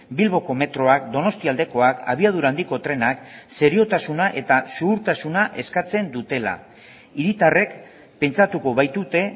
bilboko metroak donostialdekoak abiadura handiko trenak seriotasuna eta zuhurtasuna eskatzen dutela hiritarrek pentsatuko baitute